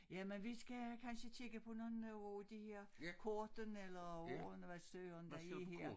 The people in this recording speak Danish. Jamen vi skal kansje kigge på nogen af de her kortene eller ordene hvad søren der er her